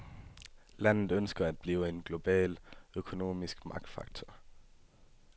Landet ønsker at blive en global økonomisk magtfaktor.